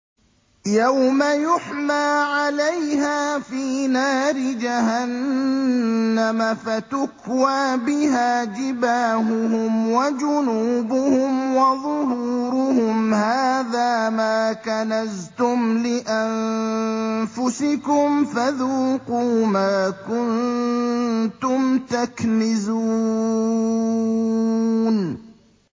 يَوْمَ يُحْمَىٰ عَلَيْهَا فِي نَارِ جَهَنَّمَ فَتُكْوَىٰ بِهَا جِبَاهُهُمْ وَجُنُوبُهُمْ وَظُهُورُهُمْ ۖ هَٰذَا مَا كَنَزْتُمْ لِأَنفُسِكُمْ فَذُوقُوا مَا كُنتُمْ تَكْنِزُونَ